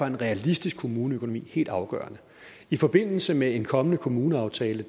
en realistisk kommuneøkonomi helt afgørende i forbindelse med en kommende kommuneaftale